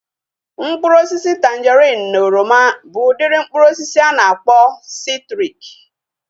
Mkpụrụ osisi tanjerin na oroma bụ udiri mkpụrụ osisi a na-akpọ sitriki